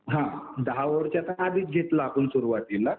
हा दहा ओव्हरचा तर आधीच घेतला आपण सुरवातीला.